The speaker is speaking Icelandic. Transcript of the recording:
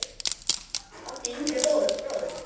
áttu yngri bróður?